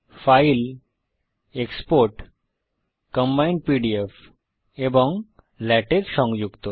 file export combined PDF এবং LaTeX সংযুক্ত